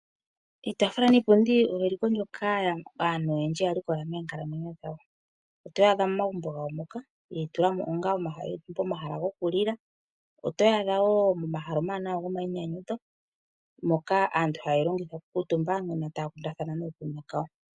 Iitafula niipundi oyo eliko ndyoka aantu oyendji yalikola moonkalamwenyo dhawo. Otoyi adha momagumbo gawo moka ye yi tulamo onga pomahala goku lila ,otoyi adha wo pomahala omawanawa gomayi nyanyudho moka aantu haye yi longitha oku kuutumba.